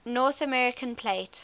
north american plate